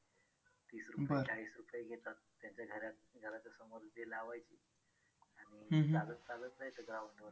तीस रुपये चाळीस रुपये घेतात. त्यांच्या घराच्या समोर लावायची आणि चालत चालत जायचं ground वर